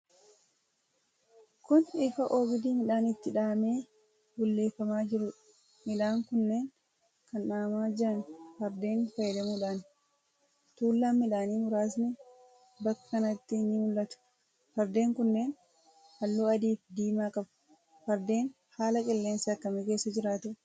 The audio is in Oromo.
Kun, lfa oogdii midhaan itti dhahamee bulleefamaa jiruu dha. Miidhaan kunneen kan dhahamaa jiran ,fardeen fayyadamuudhaani. Tuulaan midhaanii muraasnis bakka kanatti ni mul'atu. Fardeen kunneen, haalluu adii fi diimaa qabu. Fardeen ,haala qilleensaa akkamii keessa jiraatu?